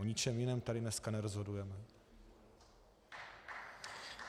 O ničem jiném tady dneska nerozhodujeme.